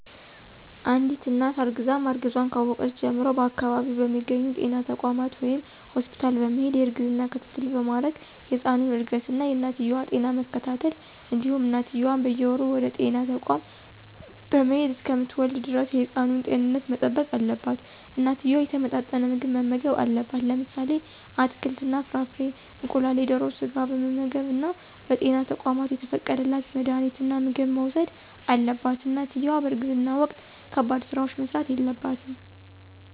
አንድት እናት እርግዛ ማርገዟን ካወቀች ጀምሮ በአከባቢው በሚገኙ ጤና ተቋማት ወይም ሆስፒታል በመሄድ የእርግዝና ክትትል በማድረግ የህፃኑን እድገት እና የእናትየዋ ጤና በመከታተል እንዲሁም እናትየዋም በየወሩ ወደጤና ተቋም በመሄድ እሰከምትወልድ ደረስ የህፃኑን ጤንነት መጠበቅ አለባት። እናትየዋ የተመጣጠነ ምግብ መመገብ አለባት። ለምሳሌ አትክልት እና ፍራፍሬ፣ እንቁላል፣ የደሮ ስጋ በመመገብ እና በጤና ተቋማት የተፈቀደላት መድሀኒትና ምግብ መውሰድ አለባት። እናትየዋ በእርግዝና ወቅት ከባድ ስራዎች መስራት የለባትም።